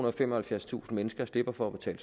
og femoghalvfjerdstusind mennesker slipper for at betale